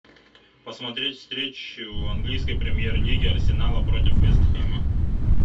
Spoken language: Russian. посмотреть встречу английской премьер лиги арсенала против вест хэма